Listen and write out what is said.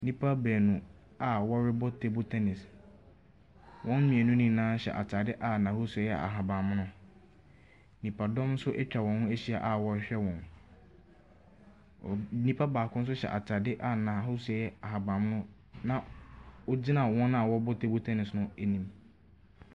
Nnipa baanu a wɔrebɔ teebol tɛnis. Wɔn mmienu nyinaa hyɛ ataade a n'ahosuo no yɛ ahabanmono. Nnipadɔm so etwa wɔn ho ahyia a wɔhwɛ wɔn. Nnipa baako nso hyɛ ataade a n'ahosuo ɛyɛ ahabanmono na ogyina wɔn a wɔbɔ teebol tɛnis no anim.